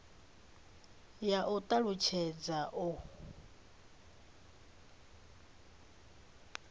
vha ya u talutshedza u